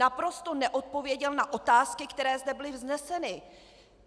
Naprosto neodpověděl na otázky, které zde byly vzneseny!